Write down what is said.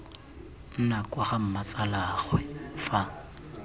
nna kwa ga mmatsalaagwe fa